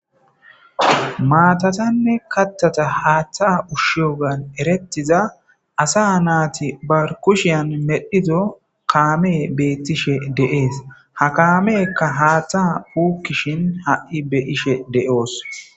Maatatanne kattata haatta ushshiyogan erettiza asa naati ba kushiyan medhido kaame beettishe dees. Ha kaameykka haatta puukkishin ha'i be'ishe de'oos.